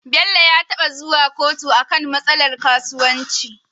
Bello ya taba zuwa kotu akan matsalar kasuwanci